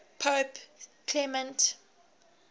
pope clement